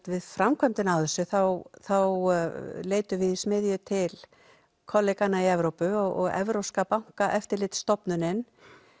við framkvæmdina á þessu þá þá leitum við í smiðju til í Evrópu og evrópska bankaeftirlitsstofnunin